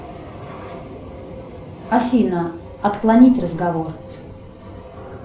афина отклонить разговор